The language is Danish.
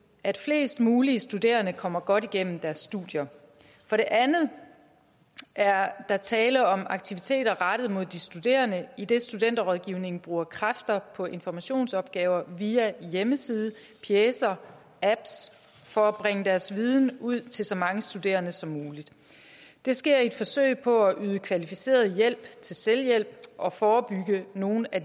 at flest mulige studerende kommer godt igennem deres studier for det andet er der tale om aktiviteter rettet mod de studerende idet studenterrådgivningen bruger kræfter på informationsopgaver via hjemmeside pjecer apps for at bringe deres viden ud til så mange studerende som muligt det sker i et forsøg på at yde kvalificeret hjælp til selvhjælp og forebygge nogle af